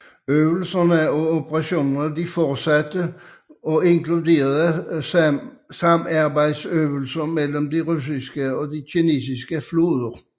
Øvelserne og operationerne fortsatte og inkluderede samarbejdsøvelser mellem de russiske og kinesiske flåder